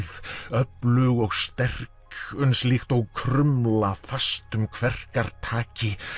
öflug og sterk líkt og krumla fast um kverkar taki